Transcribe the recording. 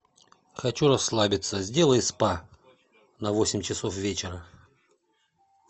хочу расслабиться сделай спа на восемь часов вечера